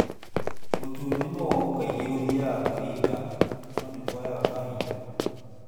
Gũturo ni mũgongo, kaingĩ gũthiaga gwĩ wika no nĩ kuoyaga kahinda.